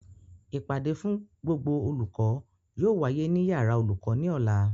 Ìpàdé fún gbogbo olùkọ́ yóò wáyé ní yàrá olùkọ́ ní Ọ̀la